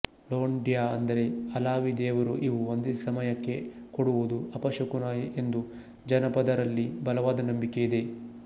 ಲೊಂಡ್ಯಾ ಅಂದರೆ ಅಲಾವಿ ದೇವರು ಇವು ಒಂದೇ ಸಮಯಕ್ಕೆ ಕೂಡುವುದು ಅಪಶಕುನ ಎಂದು ಜಾನಪದರಲ್ಲಿ ಬಲವಾದ ನಂಬಿಕೆ ಇದೆ